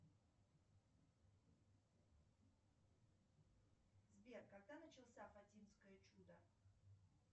сбер когда начался фатимское чудо